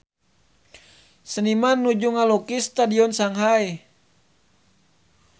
Seniman nuju ngalukis Stadion Shanghai